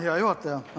Hea juhataja!